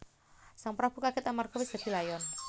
Sang prabu kagèt amarga wis dadi layon